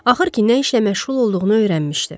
Axır ki, nə işlə məşğul olduğunu öyrənmişdi.